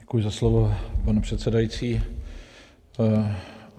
Děkuji za slovo, pane předsedající.